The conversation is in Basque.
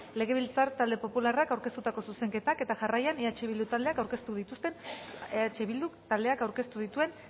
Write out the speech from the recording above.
legebiltzar talde popularrak aurkeztutako zuzenketak eta jarraian eh bildu taldeak aurkeztu dituen